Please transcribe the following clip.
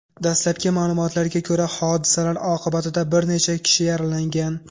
Dastlabki ma’lumotlarga ko‘ra, hodisalar oqibatida bir necha kishi yaralangan.